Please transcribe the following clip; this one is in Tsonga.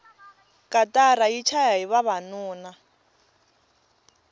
katara yi chayahi vavanuna